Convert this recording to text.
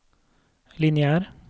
lineær